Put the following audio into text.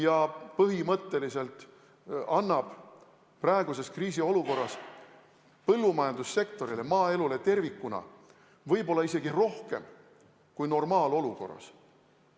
See põhimõtteliselt annab praeguses kriisiolukorras põllumajandussektorile, maaelule tervikuna võib-olla isegi rohkem kui normaalolukorras.